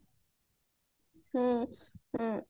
ହୁଁ ହୁଁ